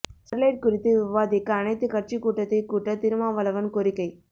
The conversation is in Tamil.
ஸ்டெர்லைட் குறித்து விவாதிக்க அனைத்துக் கட்சி கூட்டத்தைக் கூட்ட திருமாவளவன் கோரிக்கை